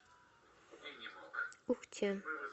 ухте